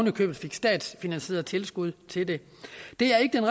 i købet fik statsfinansieret tilskud til det det er ikke